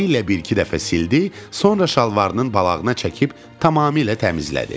Əli ilə bir-iki dəfə sildi, sonra şalvarının balağına çəkib tamamilə təmizlədi.